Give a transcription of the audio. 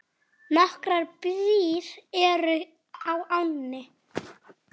Nokkrar brýr eru á ánni.